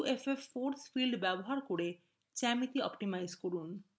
uffফোর্স field ব্যবহার করে geometry optimize করা